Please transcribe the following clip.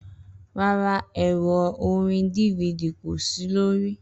Rara, ẹrọ orin DVD ko si lori